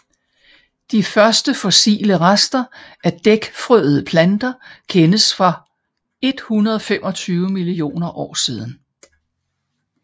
De første fossile rester af dækfrøede planter kendes fra 125 millioner år siden